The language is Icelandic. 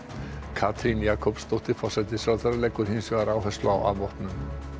Katrín Jakobsdóttir forsætisráðherra leggur hins vegar áherslu á afvopnun